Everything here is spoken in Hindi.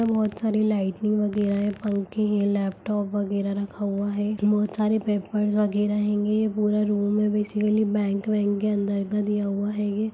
यहाँ बहुत सारी लाइटिंग वगेरा है पंखे है लैपटॉप वगेरा रखा है बहोत सारे पेपर्स वगेरा हैगें पूरा रूम है बेसिकली बैंक वांक के अंदर का दिया हुआ हैंगे।